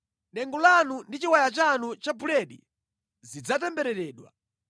Dengu lanu ndi chiwaya chanu cha buledi zidzatembereredwa.